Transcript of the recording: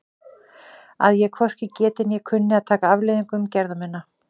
Að ég hvorki geti né kunni að taka afleiðingum gerða minna?